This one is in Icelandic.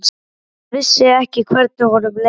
Hann vissi ekki hvernig honum leið.